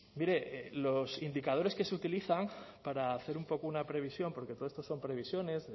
mire los indicadores que se utilizan para hacer un poco una previsión porque todo esto son previsiones